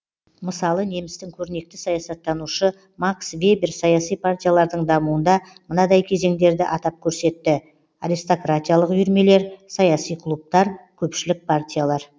мысалы немістің көрнекті саясаттанушы макс вебер саяси партиялардың дамуында мынадай кезеңдерді атап көрсетті аристократиялық үйірмелер саяси клубтар көпшілік партиялар